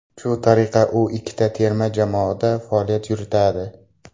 Shu tariqa u ikkita terma jamoada faoliyat yuritadi.